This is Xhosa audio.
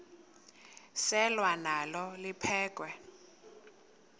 selwa nalo liphekhwe